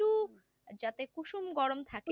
যাতে কুসুম গরম থাকে